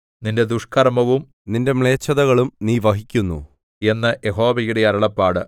നിന്റെ ദുഷ്കർമ്മവും നിന്റെ മ്ലേച്ഛതകളും നീ വഹിക്കുന്നു എന്ന് യഹോവയുടെ അരുളപ്പാട്